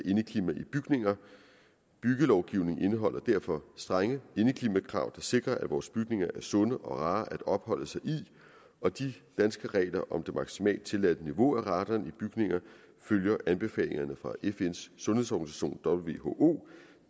indeklima i bygninger byggelovgivningen indeholder derfor strenge indeklimakrav der sikrer at vores bygninger er sunde og rare at opholde sig i og de danske regler om det maksimalt tilladte niveau af radon i bygninger følger anbefalingerne fra fns sundhedsorganisation who